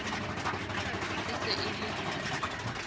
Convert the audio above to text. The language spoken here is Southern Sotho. e se e le ha